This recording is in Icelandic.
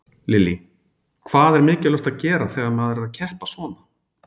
Lillý: Hvað er mikilvægt að gera þegar maður er að keppa svona?